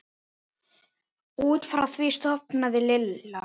Út frá því sofnaði Lilla.